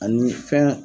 Ani fɛn